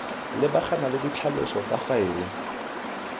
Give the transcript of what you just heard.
lebagana le ditlhaloso tsa faele